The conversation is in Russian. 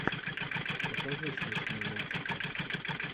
покажи смешные мультики